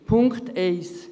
Punkt 1